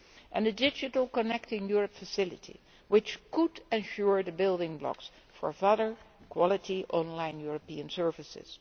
and a digital Connecting Europe facility, which could provide the building blocks for further quality online European services.